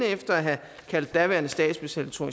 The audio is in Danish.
efter at have kaldt daværende statsminister